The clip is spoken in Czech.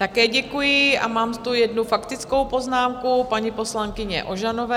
Také děkuji a mám tu jednu faktickou poznámku paní poslankyně Ožanové.